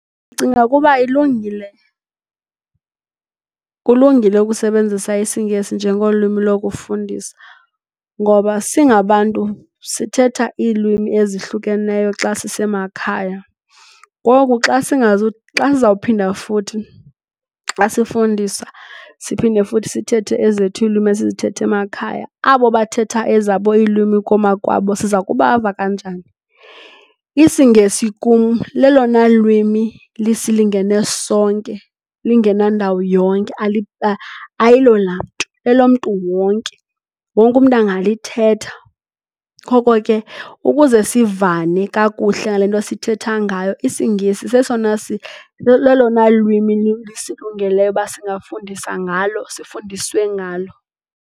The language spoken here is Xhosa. Ndicinga ukuba ilungile, kulungile ukusebenzisa isingesi njengolwimi lokufundisa ngoba singabantu sithetha iilwimi ezihlukeneyo xa sisemakhaya. Ngoku xa ndizawuphinda futhi xa sifundisa siphinde futhi sithethe ezethu iilwimi isizithetha emakhaya abo bathetha ezabo iilwimi kwamakwabo siza kubava kanjani? IsiNgesi kum lelona lwimi lisilingene sonke, lingena ndawo yonke ayilo lamntu. Lelomntu wonke. Wonke umntu angalithetha. Ngoko ke, ukuze sivane kakuhle ngale nto sithetha ngayo isiNgesi lelona lwimi lisilungeleyo ukuba singafundisa ngalo, sifundiswe ngalo.